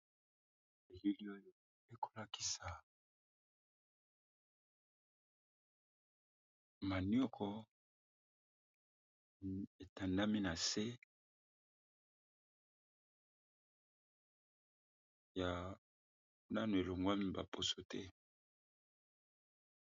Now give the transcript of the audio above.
Elili oyo e ko lakisa manioko e tandami na se, ya nano e longwami ba poso te .